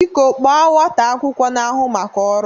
Biko kpọọ nwata akwụkwọ na-ahụ maka ọrụ!